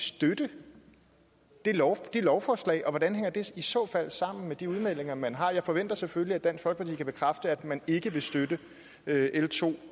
støtte det lovforslag lovforslag og hvordan det i så fald hænger sammen med de udmeldinger man har jeg forventer selvfølgelig at dansk folkeparti kan bekræfte at man ikke vil støtte l to